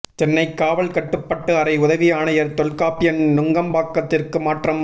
சென்னை காவல் கட்டுப்பாட்டு அறை உதவி ஆணையர் தொல்காப்பியன் நுங்கம்பாக்கத்திற்கு மாற்றம்